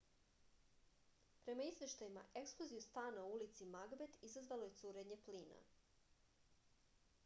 prema izveštajima eksploziju stana u ulici magbet izazvalo je curenje plina